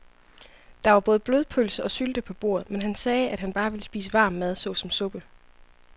Der var både blodpølse og sylte på bordet, men han sagde, at han bare ville spise varm mad såsom suppe.